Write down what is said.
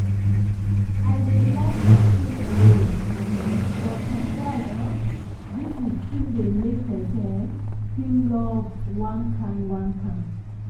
i dey like stay alone um but surprise um visits still dey make pesin um feel loved one kain one kain.